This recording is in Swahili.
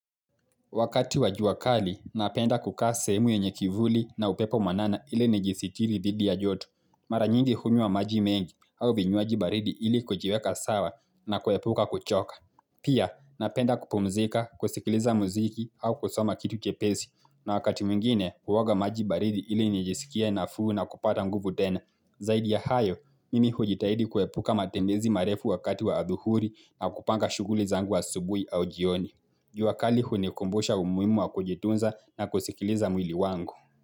Wakati wa ua kali, napenda kukaa sehemu yenye kivuli na upepo mwanana ili nijisitiri dhidi ya joto. Mara nyingi hunywa maji mengi au vinywaaji baridi ili kujiweka sawa na kuhepuka kuchoka. Pia, napenda kupumzika, kusikiliza muziki au kusoma kitu jepesi. Na wakati mwingine, uoga maji baridi ili nijisikie na fuu na kupata nguvu tena. Zaidi ya hayo, mimi hujitahidi kuhepuka matembezi marefu wakati wa adhuhuri na kupanga shuguli zangu wa asubuhi au jioni. Juakali hunikumbusha umuhimu wa kujitunza na kusikiliza mwili wangu.